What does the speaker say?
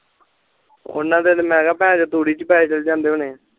ਓਹਨਾ ਦੇ ਤਾ ਮੈਂ ਕਿਹਗਾ ਭੇਨਚੋ ਤੂੜੀ ਚ ਪੈਸੇ ਚਾਲ ਜਾਂਦੇ ਹੋਣੇ ਆ